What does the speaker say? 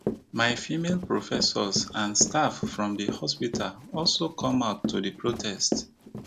my female professors and staff from di hospital also come out to protest